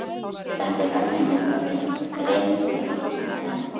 Þetta er önnur mynd af rennsli vatnsins en